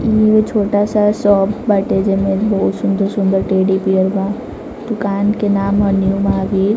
ये छोटा-सा शॉप बाटेजामे बहुत सुंदर-सुंदर टेडी -बियर बादुकान के नाम हौ न्यू -महावीर ।